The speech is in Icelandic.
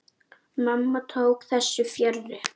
Mamma tók þessu fjarri.